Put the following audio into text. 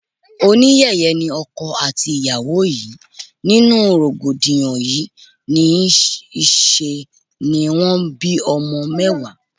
Oníyẹ̀yẹ́ ni ọkọ àti ìyàwó yìí, nínú rògbòdìyàn yí, ní ṣe ni wón bí ọmọ mẹ́wàá.